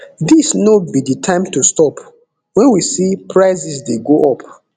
dis no be di time to stop wen we see prices dey go up